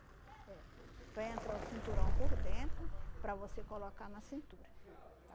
É. Para entrar o cinturão por dentro, para você colocar na cintura.